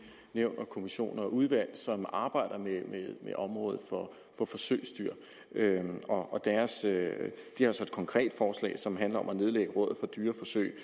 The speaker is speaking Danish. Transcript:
nævn og kommissioner og udvalg som arbejder med området for forsøgsdyr og de har så et konkret forslag som handler om at nedlægge rådet for dyreforsøg